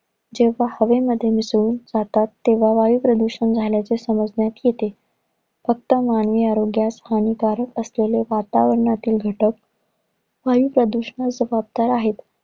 जेव्हा हवेमध्ये मिसळून जातात. तेव्हा वायू प्रदूषण झाल्याचे समजण्यात येते. फक्त मानवी आरोग्यास हानिकारक असलेले वातावरणातील घटक वायू प्रदूषणास जबाबदार आहेत.